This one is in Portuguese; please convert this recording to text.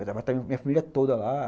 Vai estar a minha família toda lá.